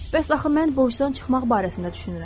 Bəs axı mən borcdan çıxmaq barəsində düşünürəm.